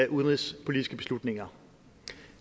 udenrigspolitiske beslutninger